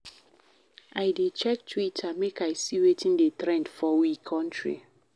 I dey check Twitter make I see wetin dey trend for we country.